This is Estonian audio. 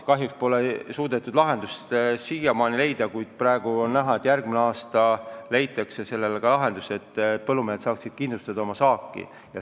Kahjuks pole suudetud lahendust siiamaani leida, kuid praegu on näha, et järgmine aasta leitakse selline lahendus, et põllumehed saavad kindlustada oma saaki.